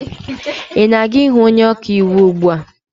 ị na aga-ịhụ onye ọka iwu ugbu a?